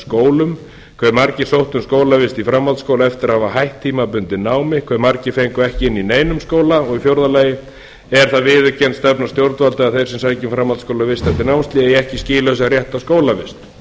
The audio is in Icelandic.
skólum hve margir sóttu um skólavist í framhaldsskóla eftir að hafa hætt tímabundið námi hve margir fengu ekki inni í neinum skóla og í fjórða lagi er það viðurkennd stefna stjórnvalda að þeir sem sækja um framhaldsskólavist eftir námshlé eigi ekki skilið rétt á skólavist